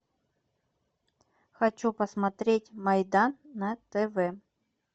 хочу посмотреть майдан на тв